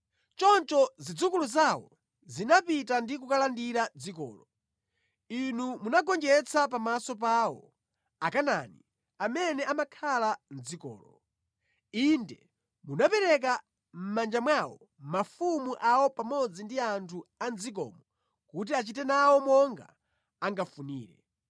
Choncho zidzukulu zawo zinapita ndi kukalandira dzikolo. Inu munagonjetsa pamaso pawo, Akanaani amene amakhala mʼdzikolo. Inde munapereka mʼmanja mwawo mafumu awo pamodzi ndi anthu a mʼdzikomo kuti achite nawo monga angafunire.